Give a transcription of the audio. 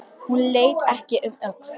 Hún leit ekki um öxl.